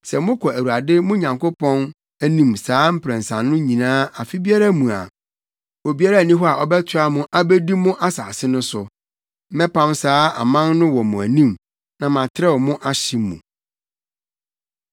Sɛ mokɔ Awurade mo Nyankopɔn anim saa mprɛnsa no nyinaa afe biara mu a, obiara nni hɔ a ɔbɛtoa mo abedi mo asase no so. Mɛpam saa aman no wɔ mo anim na matrɛw mo ahye mu.